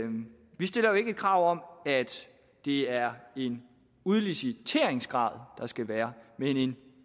vi stiller jo ikke krav om at det er en udliciteringsgrad der skal være men en